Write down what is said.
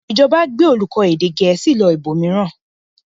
Ìjọba gbé olùkọ́ èdè Gẹ̀ẹ́sì lọ ibòmíràn?